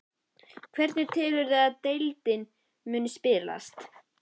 Hvernig telurðu að deildin muni spilast?